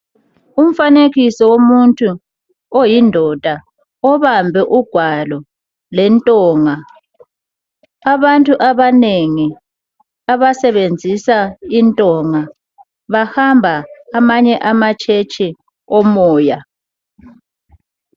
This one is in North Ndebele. Umfanekiso womuntu oyindoda obambe ugwalo lentonga, abantu abanengi abasebenzisa intonga bahamba amanye amatshetshi omoya.